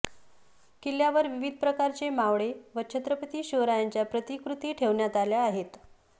किल्यावर विविध प्रकारचे मावळे व छत्रपती शिवरायांच्या प्रतिकृती ठेवण्यात आल्या आहेत